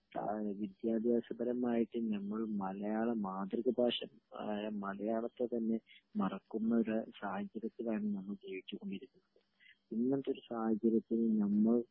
വിദ്യാഭ്യാസപരമായിട്ട് നമ്മൾ മലയാള മാതൃഭാഷ ആയ മലയാളത്തെ തന്നെ മറക്കുന്ന ഒരുസാഹചര്യത്തിലാണ് നമ്മൾ ജീവിച്ചു കൊണ്ടിരിക്കുന്നത്ഇ ങ്ങനത്തെ ഒരു സാഹചര്യത്തില് നമ്മൾ മെയിനായിട്ട് താങ്കളെ വിളിച്ചത്